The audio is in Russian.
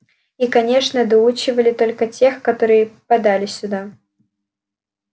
и конечно доучивали только тех которые попадали сюда